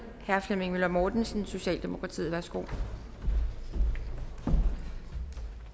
herre flemming møller mortensen socialdemokratiet værsgo